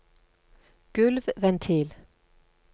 gulvventil